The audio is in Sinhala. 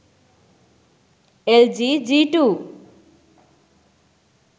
lg g2